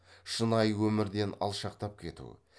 шынайы өмірден алшақтап кету